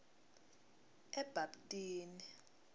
ebabtini